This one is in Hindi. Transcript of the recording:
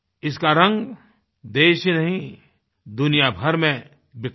इसका रंग देश ही नहीं दुनियाभर में बिखरेगा